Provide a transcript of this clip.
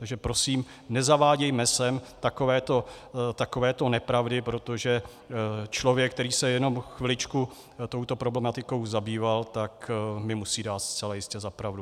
Takže prosím, nezavádějme sem takovéto nepravdy, protože člověk, který se jenom chviličku touto problematikou zabýval, tak mi musí dát zcela jistě za pravdu.